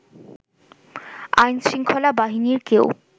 আইনশৃঙ্খলা বাহিনীর কেউ